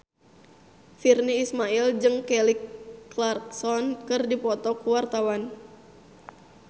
Virnie Ismail jeung Kelly Clarkson keur dipoto ku wartawan